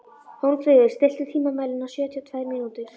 Hólmfríður, stilltu tímamælinn á sjötíu og tvær mínútur.